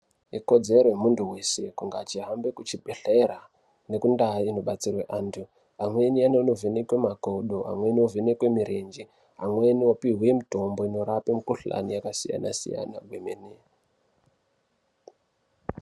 Ikodzero yemuntu weshe kunge echihambe kuchibhedhlera nekundaa inobatsirwe vantu amweni anonovhenekwe makodo amweni anovhenekwe mirenje amweni opiwe mutombo 8norape mikhuhlani yakasiyana siyana kwemene.